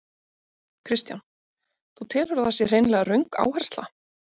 Kristján: Þú telur að það sé hreinlega röng áhersla?